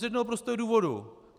Z jednoho prostého důvodu.